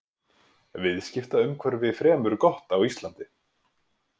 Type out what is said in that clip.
Viðskiptaumhverfi fremur gott á Íslandi